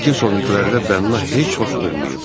Kilsonvinqlərdə bənna heç vaxt olmayıb.